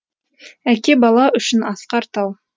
әке бала үшін асқар тау